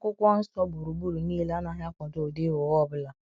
akwụkwọ nsọ gbụrụgbụrụ niile- anaghi akwado ụdị ịgha ụgha ọbụla.